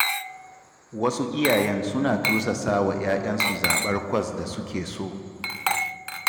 Wasu iyayen suna tursasa wa 'ya'yansu zaɓar kwas da suke so.